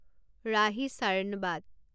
ৰাহি চাৰ্ণবাত